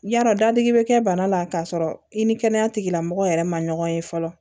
Yarɔ dadigi bɛ kɛ bana la k'a sɔrɔ i ni kɛnɛya tigilamɔgɔw yɛrɛ ma ɲɔgɔn ye fɔlɔ